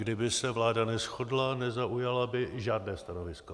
Kdyby se vláda neshodla, nezaujala by žádné stanovisko.